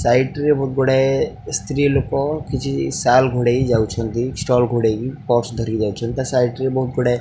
side ରେ ବହୁତ ଗୋଡ଼ାଇ ସ୍ତ୍ରୀ ଲୋକ କିଛି ଶାଲ୍ ଘୋଡାଇ ଯାଉଛନ୍ତି ଷ୍ଟଲ ଘୋଡେଇ ପର୍ସ ଧରିକି ଯାଉଛନ୍ତି ତା ସାଇଡ ରେ ବହୁତ ଗୋଡାଏ --